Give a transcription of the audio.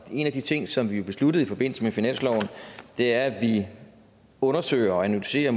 en af de ting som vi besluttede i forbindelse med finansloven er at vi undersøger og analyserer